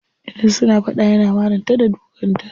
Idan suna fada yana marin ta da dukan ta.